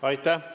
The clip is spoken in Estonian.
Aitäh!